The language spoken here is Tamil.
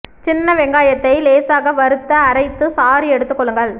சின்ன வெங்காயத்தை லேசாக வறுத்து அரைத்து சாறு எடுத்துக் கொள்ளுங்கள்